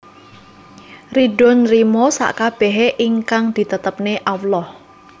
Rido nrimo sakabehe ingkang ditetepne Allah